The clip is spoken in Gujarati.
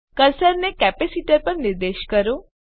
કર્સરને કેપેસીટર પર નિર્દેશ કરો